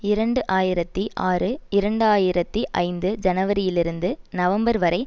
இரண்டு ஆயிரத்தி ஆறு இரண்டு ஆயிரத்தி ஐந்து ஜனவரியிலிருந்து நவம்பர் வரை